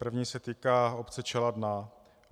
První se týká obce Čeladná.